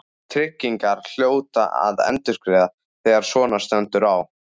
Tryggingarnar hljóta að endurgreiða þegar svona stendur á.